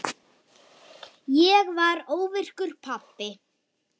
Ég varð óvirkur pabbi.